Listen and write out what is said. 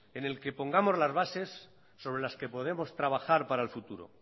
en el que pongamos las bases sobre las que podemos trabajar para el futuro